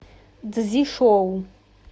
цзишоу